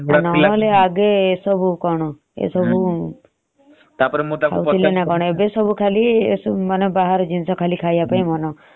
ନହେଲେ ଆଗରୁ ଏ ସବୁ କଣ ଥିଲା ନ କଣ। ନହେଲେ ଆଗ କାଳରେ ଯାଉ ଭାତ ଏସବୁରେ vitamin ଅଛି ତାକୁ ଏମାନେ ଖାଇବାକୁ ଅମଙ୍ଗ ହାଉଛନ୍ତି